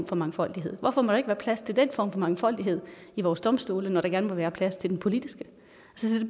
for mangfoldighed hvorfor må der ikke være plads til den form for mangfoldighed ved vores domstole når der gerne må være plads til den politiske det